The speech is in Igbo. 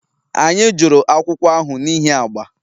Anyị jụrụ akwụkwọ ahụ n'ihi agba